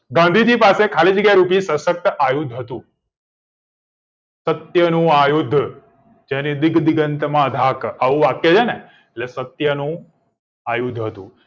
ગાંધીજી પાસે ખાલી જગ્યા સશક્ત આયુસ હતું સત્યનું આ યુદ્ધ યાની દીક્દીનક માધાક આવું વાક્ય છે ને એટલે સત્યનું આ યુદ્ધ હતું